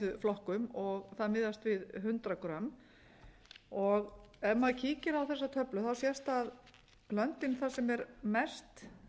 fæðuflokkum og það miðast við hundrað g ef maður kíkir á þessa töflu sést það að löndin þar sem er mest